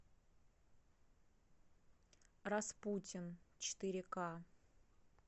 распутин четыре ка